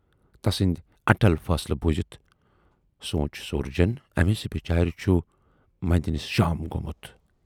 تسُندیہِ اٹل فٲصلہٕ بوٗزِتھ سوٗنچ سورجن ٲمِس بِچارِ چھُ مندینَس شام گومُت